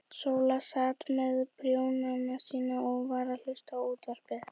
Sóla sat með prjónana sína og var að hlusta á útvarpið.